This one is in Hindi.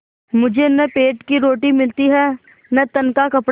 मुझे न पेट की रोटी मिलती है न तन का कपड़ा